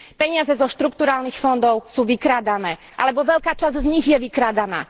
Peniaze zo štrukturálnych fondov sú vykrádané alebo veľká časť z nich je vykrádaná.